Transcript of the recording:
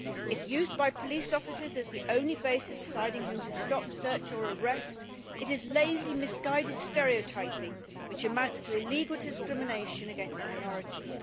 If used by police officers as the only basis of deciding whom to stop, search or arrest, it is lazy, misguiding stereotyping, which amounts to illegal discrimination against minorities.